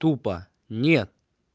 тупо не